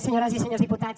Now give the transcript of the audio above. senyores i senyores diputats